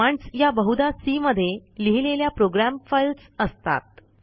commands या बहुदा C मध्ये लिहिलेल्या प्रोग्राम फाईल्स असतात